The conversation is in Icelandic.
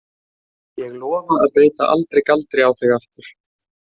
Ég lofa að beita aldrei galdri á þig aftur.